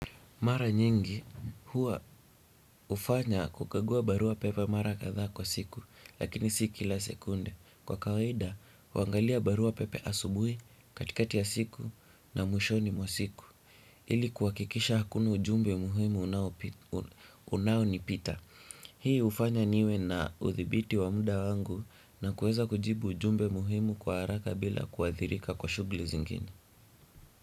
Mara nyingi hua ufanya kukagua barua pepe mara kadha kwa siku lakini si kila sekunde. Kwa kawaida, huangalia barua pepe asubui katikati ya siku na mwishoni mwa siku. Ili kuwakikisha hakuna ujumbe muhimu unao nipita. Hii ufanya niwe na uthibiti wa muda wangu na kuweza kujibu ujumbe muhimu kwa haraka bila kuathirika kwa shugli zingine.